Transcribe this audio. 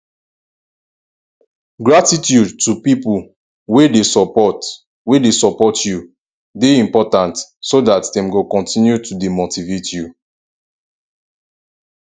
gratitude to pipo wey de support wey de support you de important so that dem go continue to de motivate you